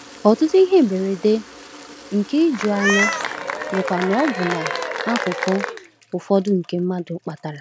Ọtụtụ ihe mberede, nke ijuanya, bụkwa n’ọbụna akụkụ ụfọdụ nke mmadụ kpatara.